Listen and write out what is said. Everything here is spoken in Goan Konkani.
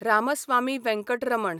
रामस्वामी वेंकटरमण